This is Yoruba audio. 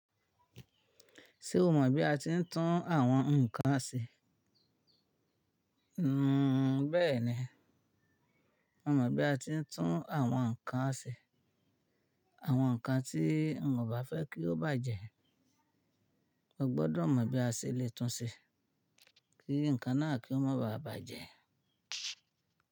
Ṣé o mọ̀ bí a ti ń tún àwọn nǹkan ṣe? Nn bẹ́ẹ̀ni, mo mọ̀ bí a ti ń tún àwọn nǹkan ṣe. Àwọn nǹkan tí mo bà fẹ́ kí ó bàjẹ́, mo gbọ́dọ̀ mọ̀ bí a ṣe le tún ṣe kí nǹkan náà kí ó má báà bàjẹ́.